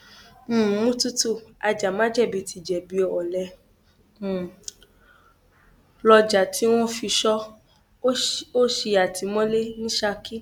um mututu ajàmájẹbí ti jẹbi o ọlẹ um ló jà tí wọn fi sọ ọ sí àtìmọlé ní saki